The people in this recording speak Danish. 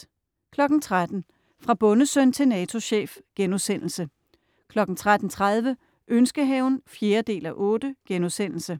13.00 Fra bondesøn til NATO-chef* 13.30 Ønskehaven 4:8*